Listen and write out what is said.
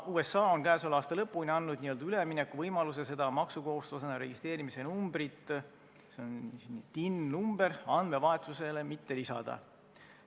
USA on käesoleva aasta lõpuni andnud n-ö üleminekuvõimaluse maksukohustuslasena registreerimise numbrit – see on PIN-number – andmevahetusele mitte lisada.